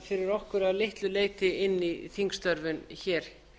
fyrir okkur að litlu leyti inn í þingstörfin hér